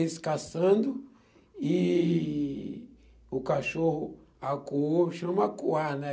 Eles caçando e o cachorro acuou, chama acuar, né?